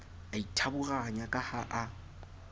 a ithaburanya ka ha a